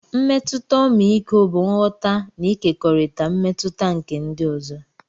Mmetụta ọmịiko bụ nghọta na ịkekọrịta mmetụta nke ndị ọzọ.